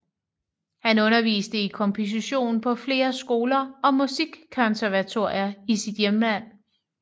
Han underviste i komposition på flere skoler og Musikkonservatorier i sit hjemland